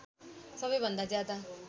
सबै भन्दा ज्यादा